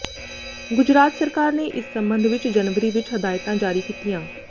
ਗੁਜਰਾਤ ਸਰਕਾਰ ਨੇ ਇਸ ਸਬੰਧ ਵਿਚ ਜਨਵਰੀ ਵਿਚ ਹਦਾਇਤਾਂ ਜਾਰੀ ਕੀਤੀਆਂ